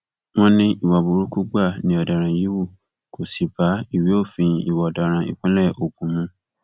wọn ní ìwà burúkú gbáà ni ọdaràn yìí hù kó sì bá ìwé òfin ìwà ọdaràn ìpínlẹ ogun mu